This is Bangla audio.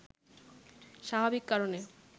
স্বাভাবিক কারণে